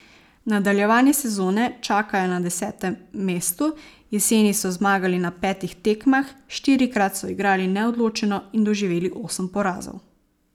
Nadaljevanje sezone čakajo na desetem mestu, jeseni so zmagali na petih tekmah, štirikrat so igrali neodločeno in doživeli osem porazov.